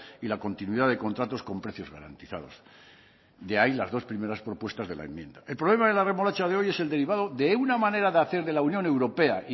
y la continuidad de contratos con precios garantizados de ahí las dos primeras propuestas de la enmienda el problema de la remolacha de hoy es el derivado de una manera de hacer de la unión europea